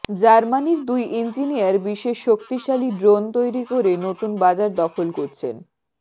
জার্মানির দুই ইঞ্জিনিয়ার বিশেষ শক্তিশালী ড্রোন তৈরি করে নতুন বাজার দখল করছেন